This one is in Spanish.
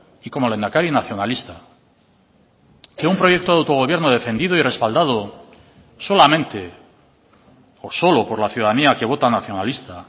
y como lehendakari nacionalista que un proyecto de autogobierno defendido y respaldado solamente o solo por la ciudadanía que vota nacionalista